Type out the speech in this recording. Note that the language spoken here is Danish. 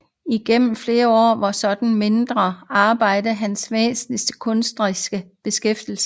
Igennem flere år var sådanne mindre arbejder hans væsentlige kunstneriske beskæftigelse